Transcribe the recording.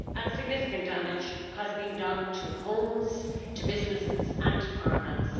Significant damage has been done to homes, to businesses and to farmlands.